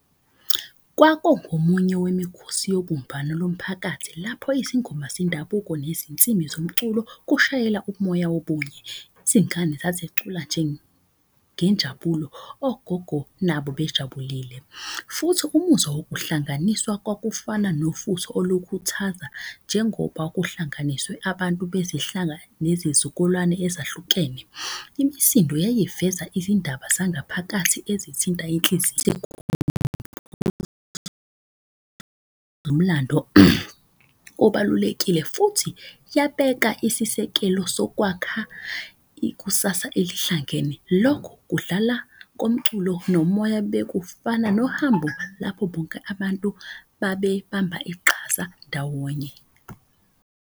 Kwakungomunye wemikhosi yobumbano lomphakathi lapho izingoma zendabuko nezinsimi zomculo kushayela umoya wobunye. Izingane sazicula nje ngenjabulo ogogo nabo bejabulile. Futhi umuzwa wokuhlanganiswa kwakufana nofutho olukuthaza njengoba kuhlanganiswe abantu bezihlanga nezizukulwane ezahlukene. Imisindo yayiveza izindaba zangaphakathi ezithinta inhliziyo. Nomlando obalulekile futhi yabeka isisekelo sokwakha ikusasa elihlangene. Lokhu kudlala komculo nomoya, bekufana nohambo lapho bonke abantu babe bamba iqhaza ndawonye.